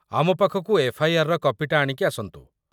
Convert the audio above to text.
ଆମ ପାଖକୁ ଏଫ୍.ଆଇ.ଆର୍. ର କପିଟା ଆଣିକି ଆସନ୍ତୁ ।